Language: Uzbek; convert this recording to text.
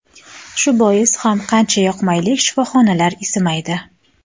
Shu bois ham qancha yoqmaylik, sinfxonalar isimaydi”.